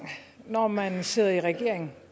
når man sidder i regering